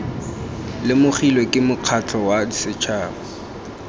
lemogilwe ke mokgatlho wa setšhaba